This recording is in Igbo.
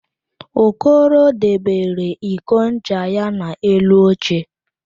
Okoro debere iko ncha ya n'elu oche